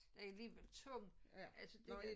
Det alligevel tung altså det